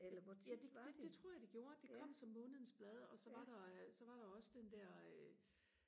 ja det det det tror jeg det gjorde det kom som månedens blad og så var der øh så var der også den der øh